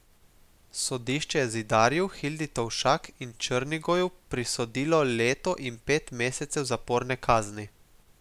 Sodišče je Zidarju, Hildi Tovšak in Črnigoju prisodilo leto in pet mesecev zaporne kazni.